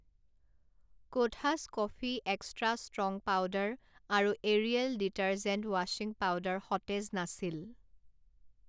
কোঠাছ coffee extra strong powder আৰু Ariel detergent ৱাশ্বিং powder সতেজ নাছিল।